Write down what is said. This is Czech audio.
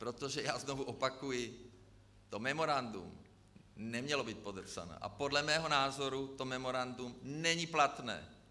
Protože já znovu opakuji, to memorandum nemělo být podepsané a podle mého názoru to memorandum není platné.